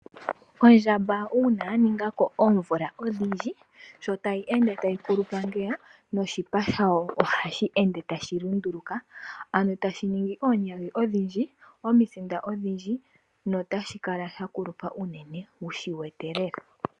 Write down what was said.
Ondjamba uuna yaningako omimvo odhindji sho tayi ende tayi kulupa noshipa shayo ohashi ende tashi lunduluka, ano tashi ningi oonyagi odhindji ,omisinda odhindji, notashi kala sha kulupa unene wushi wete lela.